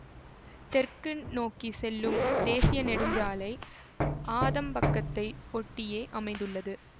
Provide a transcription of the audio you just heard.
தெற்கு நோக்கி செல்லும் தேசிய நெடுஞ்சாலை ஆதம்பக்கத்தை ஒட்டியே அமைந்துள்ளது